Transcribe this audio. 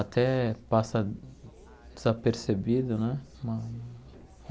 Até passa desapercebido, né? Uma